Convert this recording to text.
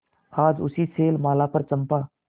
आज उसी शैलमाला पर चंपा